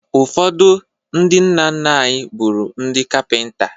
Ụfọdụ ndị nna nna anyị bụrụ ndị Kapịnta